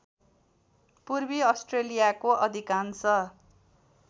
पूर्वी अस्ट्रेलियाको अधिकांश